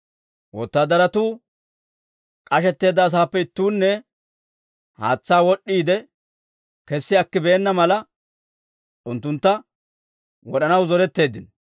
Wotaadaratuu k'ashetteedda asaappe ittuunne haatsaa wad'd'iide kessi akkibeenna mala, unttuntta wod'anaw zoretteeddino.